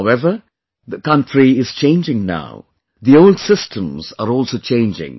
However, the country is changing now; the old systems are also changing